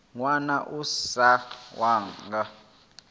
ṅwana a si wau nga